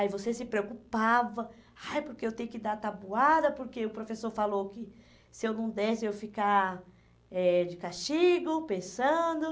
Aí você se preocupava, ai porque eu tenho que dar tabuada, porque o professor falou que se eu não desse, eu ia ficar eh de castigo, pensando.